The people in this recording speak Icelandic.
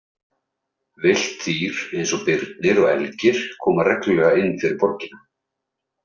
Villt dýr eins og birnir og elgir koma reglulega inn fyrir borgina.